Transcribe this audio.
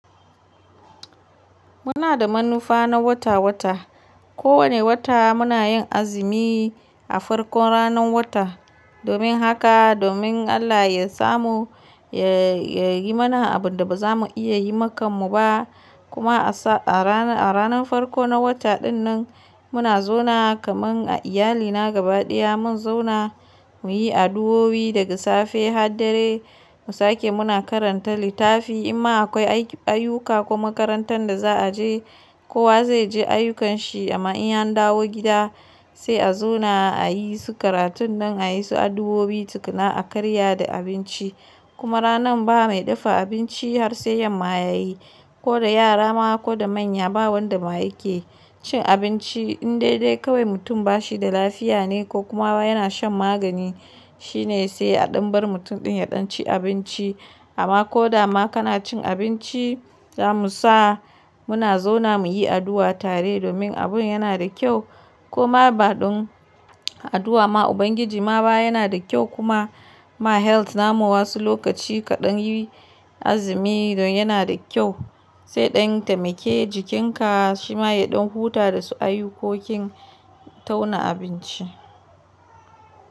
Muna da manufa na wata-wata. Ko wani wata muna yin azumi a farkon ranar wata domin haka domin Allah ya samu ya yi mana abin da ba za mu iya yi makammu ba. Kuma a ranar farko na wata dinnan muna zauna kaman a iyalina gabaɗaya mun zauna mu yi addu'o'o'i daga safe har dare. Mu sake muna karanta littafi. Imma akwai ayyuka kuma makarantar da za a je, kowa zai je ayyukanshi amma in an dawo gida sai a zauna a yi su karatunnan a yi su addu'o'i tukuna a karya da abinci. Kuma ranan ba mai dafa abinci har sai yamma ya yi ko da yara ma ko da manya ba wanda ma yake cin abinci. In dai dai kawai mutum ba shi da lafiya ne ko kuma yana shan magani shine sai a ɗan bar mutum ɗin ya ɗan ci abinci. Amma ko da ma kana cin abinci, za mu sa muna zauna mu yi addu'a tare domin abun yana da kyau kuma ba ɗon addu'a ma Ubangiji ma ba yana da kyau kuma ma health namu wasu lokaci kaɗan yi azumi don yana da kyau. Zai ɗan tai maƙe jikinka shi ma ya ɗan huta da su ayyukokin tauna abinci.